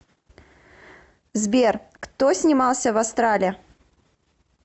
сбер кто снимался в астрале